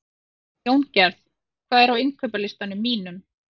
Jóngerð, hvað er á innkaupalistanum mínum?